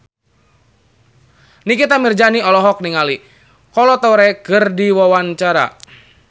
Nikita Mirzani olohok ningali Kolo Taure keur diwawancara